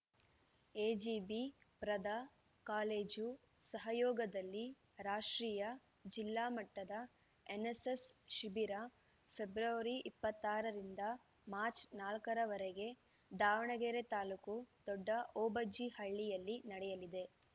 ಎಜಿಬಿ ಪ್ರದ ಕಾಲೇಜು ಸಹಯೋಗದಲ್ಲಿ ರಾಷ್ಟ್ರೀಯ ಜಿಲ್ಲಾ ಮಟ್ಟದ ಎನ್ನೆಸ್ಸೆಸ್‌ ಶಿಬಿರ ಫೆಬ್ರವರಿ ಇಪ್ಪತ್ತ್ ಆರು ರಿಂದ ಮಾರ್ಚ್ ನಾಲ್ಕ ರವರೆಗೆ ದಾವಣಗೆರೆ ತಾ ದೊಡ್ಡ ಓಬಜ್ಜಿಹಳ್ಳಿಯಲ್ಲಿ ನಡೆಯಲಿದೆ